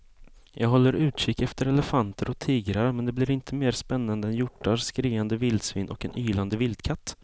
Jag håller utkik efter elefanter och tigrar men det blir inte mer spännande än hjortar, skriande vildsvin och en ylande vildkatt.